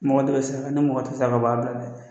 Mɔgɔ de be sɛgɛ ani mɔgɔ te se a ka baara bɛ la